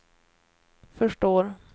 förstår